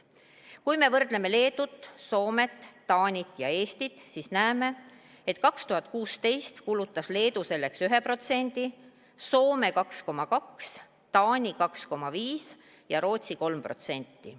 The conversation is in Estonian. Kui me võrdleme Leedut, Soomet, Taanit ja Eestit, siis näeme, et 2016. aastal kulutas Leedu selleks 1%, Soome 2,2%, Taani 2,5% ja Rootsi 3%.